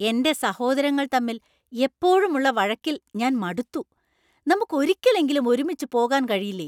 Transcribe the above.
എന്‍റെ സഹോദരങ്ങൾ തമ്മിൽ എപ്പോഴും ഉള്ള വഴക്കിൽ ഞാൻ മടുത്തു. നമുക്ക് ഒരിക്കലെങ്കിലും ഒരുമിച്ച് പോകാൻ കഴിയില്ലേ ?